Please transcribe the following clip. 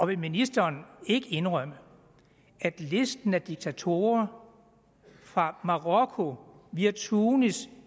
vil ministeren ikke indrømme at listen over diktatorer fra marokko via tunesien